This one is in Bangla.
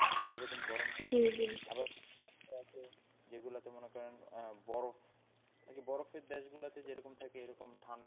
সেরকম গরম থাকে আবার কিছু রাষ্ট্র আছে যেগুলোতে মনে করেন আহ বরফ, বরফের দেশ গুলোতে যেরকম থাকে এরকম ঠান্ডা,